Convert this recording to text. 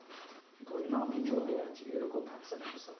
ধরে নাও আমি জলে আছি এরকম ঝাপসা ঝাপসা,